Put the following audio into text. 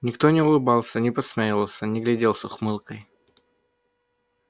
никто не улыбался не подсмеивался не глядел с ухмылкой